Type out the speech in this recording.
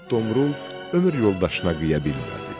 İgid Domrul ömür yoldaşına qıya bilmədi.